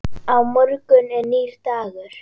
Á morgun er nýr dagur.